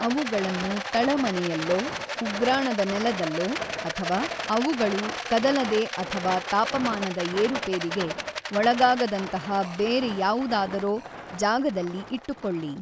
ಅವುಗಳನ್ನು ತಳಮನೆಯಲ್ಲೊ, ಉಗ್ರಾಣದ ನೆಲದಲ್ಲೊ ಅಥವಾ ಅವುಗಳು ಕದಲದೆ ಅಥವಾ ತಾಪಮಾನದ ಏರುಪೇರಿಗೆ ಒಳಗಾಗದಂತಹ ಬೇರೆ ಯಾವುದಾದರೊ ಜಾಗದಲ್ಲಿ ಇಟ್ಟುಕೊಳ್ಳಿ.